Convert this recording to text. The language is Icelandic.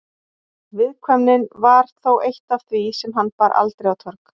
Viðkvæmnin var þó eitt af því sem hann bar aldrei á torg.